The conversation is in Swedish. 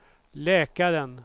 läkaren